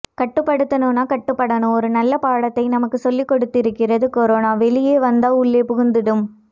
கட்டுப் படுத்தணும்னா கட்டுப் படணும்னு ஒரு நல்ல பாடத்தை நமக்கு சொல்லிக் கொடுத்திருக்கிறது கொரோனா வெளிய வந்தா உள்ளே புகுந்துடும்